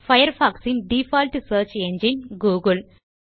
Firefox இன் default search engine Google